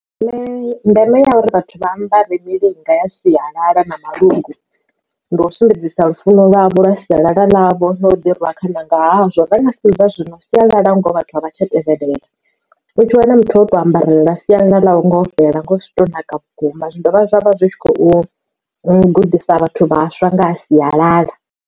Nṋe ndeme ya uri vhathu vha ambare milinga ya sialala na malungu ndi u sumbedzisa lufuno lwavho lwa sialala ḽavho ḽa o ḓi rwa khana nga hazwo vha nga sedza zwino sialala ngoho vhathu a vha tsha tevhelela u tshi wana muthu ngoho oto ambarelela sialala ḽo fhelela ngo zwi to naka vhukuma zwi dovha zwavha zwi kho gudisa vhathu vhaswa nga ha sialala.